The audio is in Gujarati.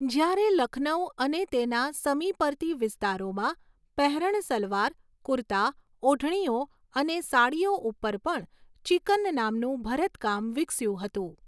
જ્યારે લખનઉ અને તેના સમીપર્તિ વિસ્તારોમાં પહેરણ સલવાર, કુર્તા, ઓઢણીઓ અને સાડીઓ ઉપર પણ ચીકન નામનું ભરતકામ વિકસ્યું હતું.